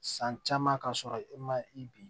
San caman ka sɔrɔ e ma i bin